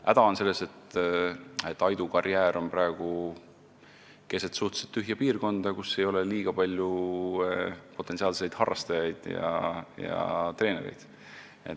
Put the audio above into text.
Häda on selles, et Aidu karjäär on praegu keset suhteliselt tühja piirkonda, kus ei ole liiga palju potentsiaalseid harrastajaid ega treenereid.